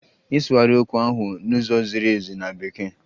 Ịsụgharị okwu ahụ n'ụzọ ziri ezi na Bekee!